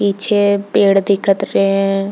पीछे पेड़ दिखत रहे है।